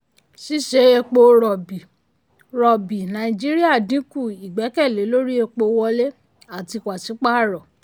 ṣíṣe epo rọ̀bì rọ̀bì nàìjíríà dínkù ìgbẹ́kẹ̀lé lórí epo wọlé àti paṣípààrọ̀.